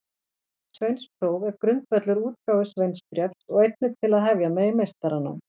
Sveinspróf er grundvöllur útgáfu sveinsbréfs og einnig til að hefja megi meistaranám.